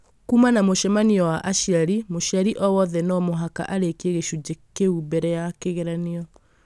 kuuma na mũcemanio wa aciari mũciari o wothe no mũhaka arĩkie gĩcunjĩ kĩu mbere ya kĩgeranio.